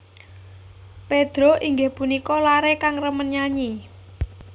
Pedro inggih punika laré kang remen nyanyi